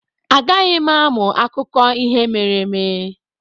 Agaghị m amụ akụkọ ihe mere eme.